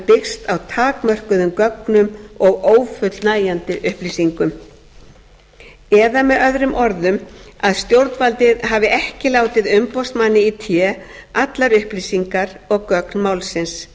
byggst á takmörkuðum gögnum og ófullnægjandi upplýsingum eða möoað stjórnvaldið hafi ekki látið umboðsmanni í té allar upplýsingar og gögn málsins